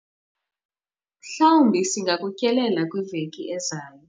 mhlawumbi singakutyelela kwiveki ezayo